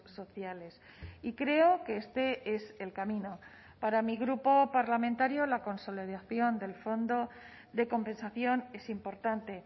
sociales y creo que este es el camino para mi grupo parlamentario la consolidación del fondo de compensación es importante